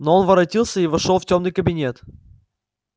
но он воротился и вошёл в тёмный кабинет